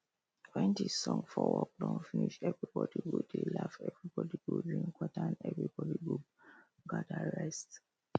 wen the song for work don finish everybody go dey laugh everybody go drink water and everybody go gather rest